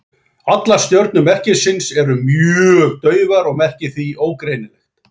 Allar stjörnur merkisins eru mjög daufar og merkið því ógreinilegt.